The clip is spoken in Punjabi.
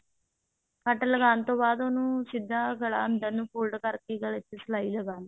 ਕੱਟ ਲਗਾਉਣ ਤੋਂ ਬਾਅਦ ਉਹਨੂੰ ਸਿੱਧਾ ਗਲਾ ਅੰਦਰ ਨੂੰ fold ਕਰਕੇ ਗਲੇ ਤੇ ਸਲਾਈ ਲਗਾਲੋ